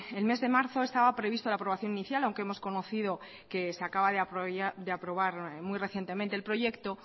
el mes de marzo estaba previsto la aprobación inicial aunque hemos conocido que se acaba de aprobar muy recientemente el proyecto